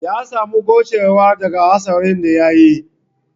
Ya samu gowcewa daga hatsarin da ya yi